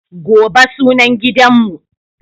Gobe sunan gidanmu.